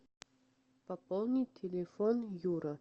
пополнить телефон юра